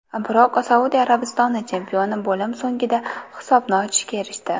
Biroq Saudiya Arabistoni chempioni bo‘lim so‘ngida hisobni ochishga erishdi.